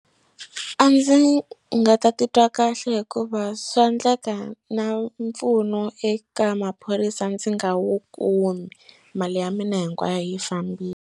A ndzi nga ta titwa kahle hikuva swa endleka na mpfuno eka maphorisa ndzi nga wu kumi mali ya mina hinkwayo yi fambile.